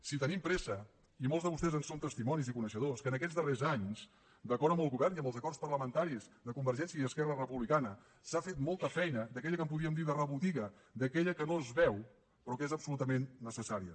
si tenim pressa i molts de vostès en són testimonis i coneixedors que en aquests darrers anys d’acord amb el govern i amb els acords parlamentaris de convergència i esquerra republicana s’ha fet molta feina d’aquella que en podíem dir de rebotiga d’aquella que no es veu però que és absolutament necessària